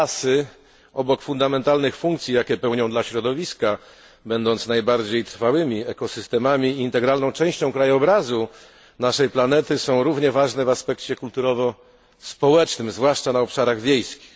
Lasy obok fundamentalnych funkcji, jakie pełnią dla środowiska, będąc najbardziej trwałymi ekosystemami i integralną częścią krajobrazu naszej planety, są równie ważne w aspekcie kulturowo społecznym, zwłaszcza na obszarach wiejskich.